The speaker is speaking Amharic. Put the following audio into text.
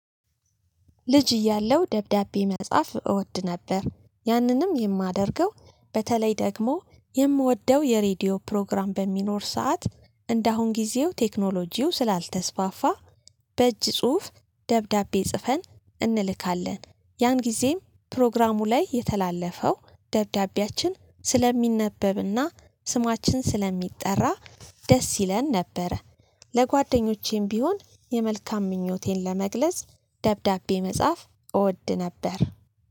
ልጅ እያለው ደብዳቤ መጻፍ እወድ ነበር። ያንንም የማደርገው በተለይ ደግሞ የምወደው የሬዲዮ ፕሮግራም በሚኖር ሰዓት እንደአሁን ጊዜው ቴክኖሎጂው ስላልተስፋፋ በእጅ ጽሁፍ ደብዳቤ ጽፈን እንልካለን። ያን ጊዜም ፕሮግራሙ ላይ የተላለፈው ደብዳቤያችን ስለሚነበብና ስማችን ስለሚጠራ ደስ ይለን ነበረ። ለጓደኞቼም ቢሆን የመልካም ምኞቴን ለመግለጽ ደብዳቤ መጽሐፍ እወድ ነበር።